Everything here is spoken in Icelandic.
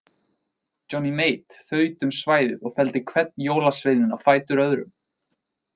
Johnny Mate þaut um svæðið og felldi hvern jólaveininn á fætur öðrum.